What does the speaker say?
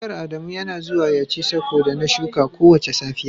Akuyan Adamu Yana zuwa ya ci sako da na shuka kowace safiya.